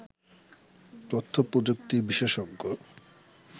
তথ্যপ্রযুক্তি বিশেষজ্ঞ